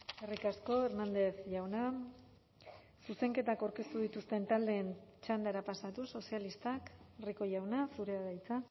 eskerrik asko hernández jauna zuzenketak aurkeztu dituzten taldeen txandara pasatuz sozialistak rico jauna zurea da hitza